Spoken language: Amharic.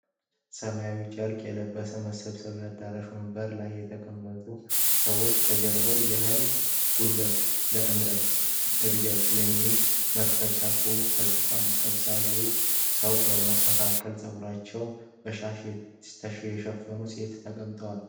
ሰማያዊ ጨርቅ የለበሰ የመሰብሰቢያ አዳራሽ ወንበር ላይ የተቀመጡ ሰዎች ከጀርባ "የህልም ጉልበት ለእምርታዊ እድገት" የማል የመፈክር ፅሁፍ ተፅፏል። ተሰብሳቢ ሰዎች መካከል ፀጉራቸዉን በሻሽ የሸፈኑ ሴቶች ተቀምጠዋል።